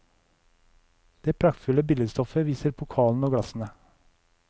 Det praktfulle billedstoffet viser pokalene og glassene.